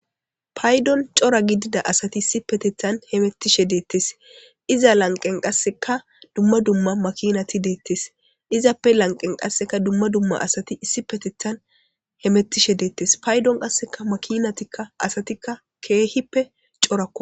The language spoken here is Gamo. Payidon coora gidida asati hamitishe de'etes iza laniqen qasinka duma duma makinati de'izayis izape laniqen qasinka duma duma hemetishe de'etes payidon asati kehipe coorako